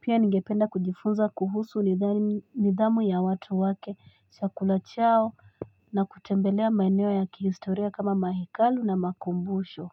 Pia ningependa kujifunza kuhusu nidhamu ya watu wake, chakula chao na kutembelea maeneo ya kihistoria kama mahekalu na makumbusho.